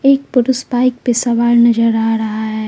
एक पुरुष बाइक पे सवार नजर आ रहा है।